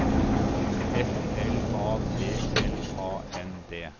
F L A T L A N D